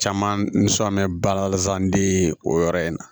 Caman bɛ sɔ mɛ balazan de o yɔrɔ in na